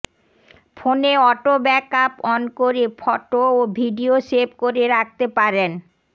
ফোনে auto backup on করে photo ও ভিডিও সেভ করে রাখতে পারেন